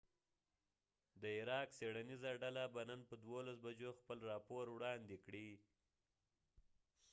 د عراق څیړنیزه ډله به نن په 12 بجو خپل راپور وړاندی کړی